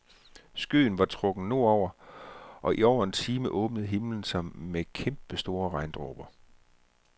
Skyen var trukket nordover, og i over en time åbnede himlen sig med kæmpe store regndråber.